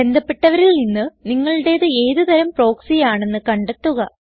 ബന്ധപ്പെട്ടവരിൽ നിന്ന് നിങ്ങളുടേത് ഏത് തരം പ്രോക്സി ആണെന്ന് കണ്ടെത്തുക